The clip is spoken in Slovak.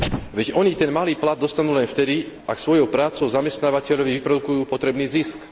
Veď oni ten malý plat dostanú len vtedy, ak svojou prácou zamestnávateľovi vyprodukujú potrebný zisk.